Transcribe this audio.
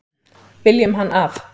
Viljum hann af.